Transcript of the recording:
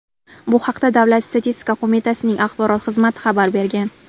Bu haqda Davlat statistika qo‘mitasining axborot xizmati xabar bergan .